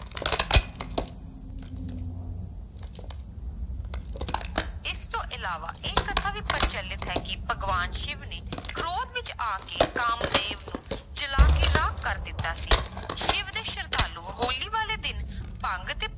ਇਸ ਤੋਂ ਇਲਾਵਾ ਇਹ ਕਥਾ ਵੀ ਪ੍ਰਚਲਿਤ ਹੈ ਕਿ ਭਗਵਾਨ ਸਿਵ ਨੇ ਕ੍ਰੋਧ ਵਿੱਚ ਆ ਕੇ ਕਾਮਦੇਵ ਨੂੰ ਜਲਾ ਕੇ ਰਾਖ ਕਰ ਦਿੱਤਾ ਸੀ ਸਿਵ ਦੇ ਸਰਧਾਲੂ ਹੋਲੀ ਵਾਲੇ ਦਿਨ ਭੰਗ ਦੇ